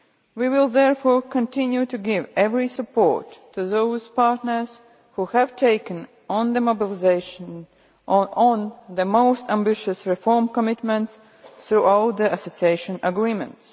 We will therefore continue to give every support to those partners which have taken on mobilisation on the most ambitious reform commitments through all the association agreements.